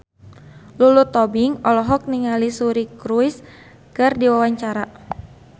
Lulu Tobing olohok ningali Suri Cruise keur diwawancara